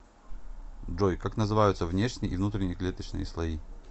джой как называются внешний и внутренний клеточные слои